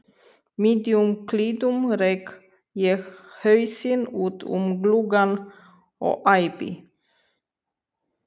miðjum klíðum rek ég hausinn út um gluggann og æpi